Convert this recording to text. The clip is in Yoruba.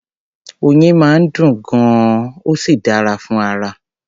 Oyin máa ń dùn gan-an, ó sì dáa fún ara.